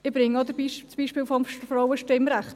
Ich bringe auch das Beispiel des Frauenstimmrechts;